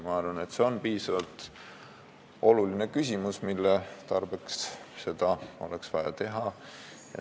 Ma arvan, et see on nii oluline küsimus, et seda oleks vaja teha.